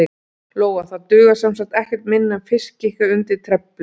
Lóa: Það dugar semsagt ekkert minna en fiskikar undir trefilinn?